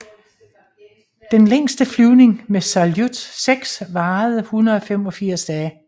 Den længste flyvning med Saljut 6 varede 185 dage